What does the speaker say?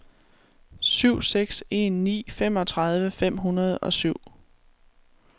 syv seks en ni femogtredive fem hundrede og syv